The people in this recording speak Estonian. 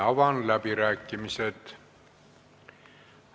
Avan läbirääkimised.